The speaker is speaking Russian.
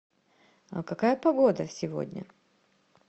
а какая погода сегодня